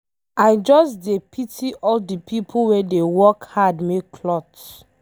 I just dey pity all the people wey dey work hard make cloths.